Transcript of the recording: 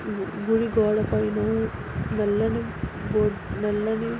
ఇది గుడి గోడ పైన నల్లని బోర్ . నల్లని --